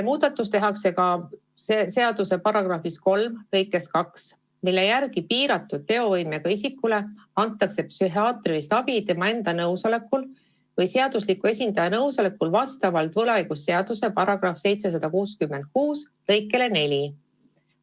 Muudatus tehakse ka seaduse § 3 lõikes 2, mille järgi piiratud teovõimega isikule antakse psühhiaatrilist abi tema enda või tema seadusliku esindaja nõusolekul vastavalt võlaõigusseaduse § 766 lõikele 4.